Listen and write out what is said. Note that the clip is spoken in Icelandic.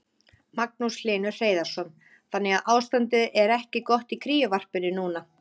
Magnús Hlynur Hreiðarsson: Þannig að ástandið er ekki gott í kríuvarpinu núna?